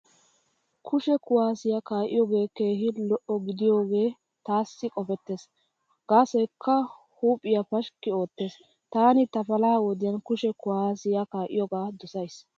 Kushe kuwaasiya kaa'iyoogee keehi lo'o gidiyoogee taassi qopettees, gaasoykka huuphiyaa pashkki oottees. Taani ta palaha wodiyan kushe kuwaasiya kaa'iyoogaa dosays.